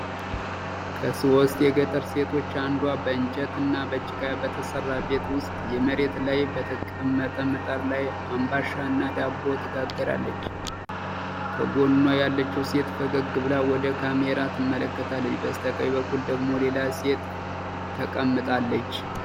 ከሶስት የገጠር ሴቶች አንዷ በእንጨት እና በጭቃ በተሰራ ቤት ውስጥ፣ መሬት ላይ በተቀመጠ ምጣድ ላይ አምባሻ እና ዳቦ ትጋግራለች። ከጎኗ ያለችው ሴት ፈገግ ብላ ወደ ካሜራ ትመለከታለች፤ በስተቀኝ በኩል ደግሞ ሌላ ሴት ተቀምጣለች።